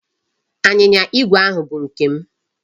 Anyịnya igwe ahụ bụ nke m.